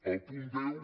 al punt deu